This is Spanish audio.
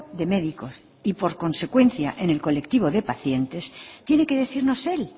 de médicos y por consecuencia en el colectivo de pacientes tiene que decirnos él